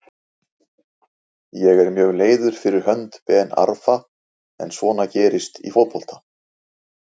Ég er mjög leiður fyrir hönd Ben Arfa en svona gerist í fótbolta.